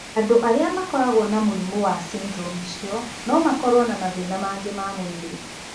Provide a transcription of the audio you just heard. Andũ arĩa makoragũo na mũrimũ wa syndrome ĩcio no makorũo na mathĩĩna mangĩ ma mwĩrĩ.